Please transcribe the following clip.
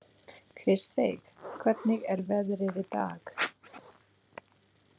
Kristveig, hvernig er veðrið í dag?